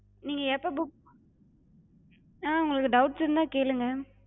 நீங்க எப்ப book ஹம் உங்களுக்கு doubts இருந்தா கேளுங்க.